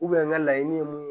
n ka laɲini ye mun ye